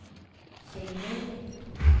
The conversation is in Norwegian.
Kjeller